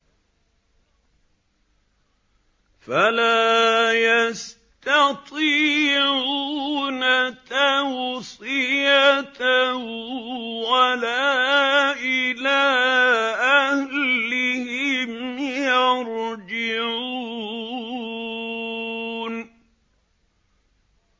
فَلَا يَسْتَطِيعُونَ تَوْصِيَةً وَلَا إِلَىٰ أَهْلِهِمْ يَرْجِعُونَ